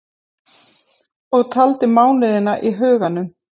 Og taldi mánuðina í huganum.